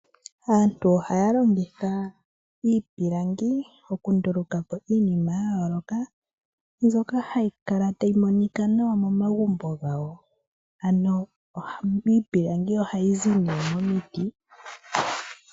Aantu ohaya longitha iipilangi okunduluka po iinima ya yooloka, mbyoka hayi kala tayi monika nawa momagumbo gawo. Ano iipilangi ohayi zi nee momiti.